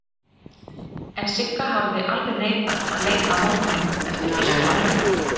En Sigga hafði alveg neitað að leika á móti honum eftir fyrstu æfinguna.